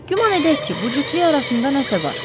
Güman edək ki, bu cütlük arasında nəsə var.